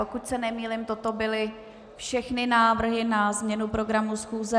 Pokud se nemýlím, toto byly všechny návrhy na změnu programu schůze.